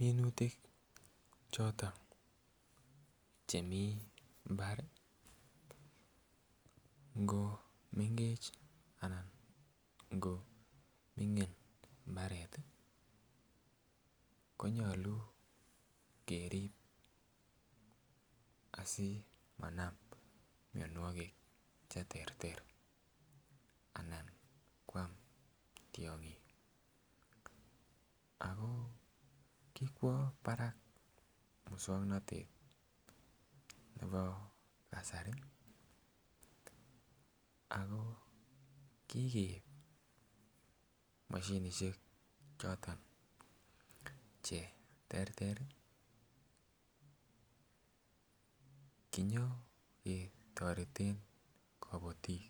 Minutik choton chemii mbar ngo mengech ana ngo ming'in mbaret ih konyolu kerib asimanam mionwogik cheterter anan koam tiong'ik ako kikwo barak muswongnotet nebo kasari ako kikeib moshinisiek choton cheterter ih kinyoketoreten kobotiik,